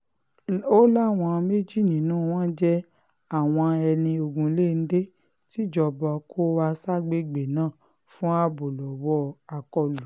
ó láwọn méjì nínú wọn jẹ́ àwọn ẹni ogunléndé tìjọba kó wá ságbègbè náà fún ààbò lọ́wọ́ àkọlù